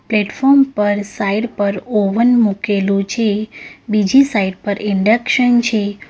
Platform પર side પર oven મુકેલુ છે બીજી સાઇટ પર ઇન્ડક્શન છે.